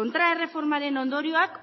kontraerreformaren ondorioak